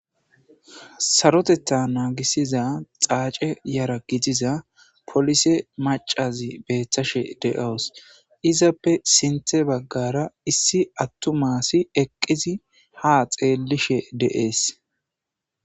Saroteta naagisiza xaace yara gitiza polise macazi beethtashe de7owos izappe sinthe baggara issi attu maasi eqqizi ha xeellishe de7ees.